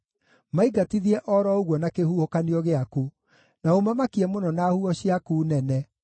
maingatithie o ro ũguo na kĩhuhũkanio gĩaku, na ũmamakie mũno na huho ciaku nene.